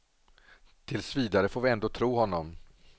Tills vidare får vi ändå tro honom.